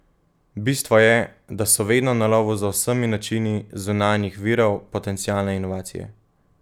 Bistvo je, da so vedno na lovu za vsemi načini zunanjih virov potencialne inovacije.